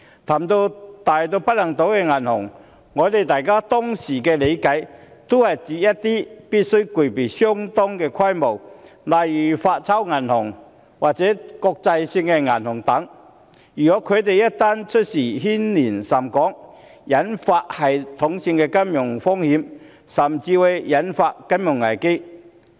談及大到不能倒的銀行，我們當時的理解是指必須具備相當規模的銀行，例如發鈔銀行或國際性銀行等，當它們一旦出事便會牽連甚廣，引發系統性的金融風險，甚至會引發金融危機。